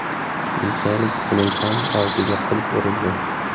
Keyinchalik uning ham og‘ziga qulf urildi.